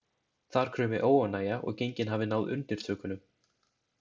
Þar kraumi óánægja og gengin hafi náð undirtökunum.